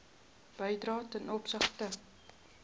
bedrywe ten opsigte